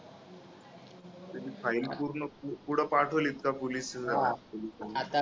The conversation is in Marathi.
file पूर्ण पु पुढं पाठवलीत का police